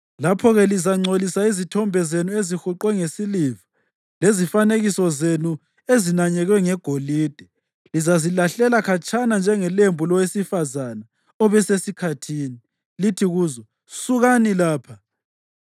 Lapho-ke lizangcolisa izithombe zenu ezihuqwe ngesiliva lezifanekiso zenu ezinanyekwe ngegolide; lizazilahlela khatshana njengelembu lowesifazane obesesikhathini, lithi kuzo, “Sukani lapha!”